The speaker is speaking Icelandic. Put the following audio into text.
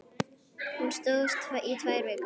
Hún stóð í tvær vikur.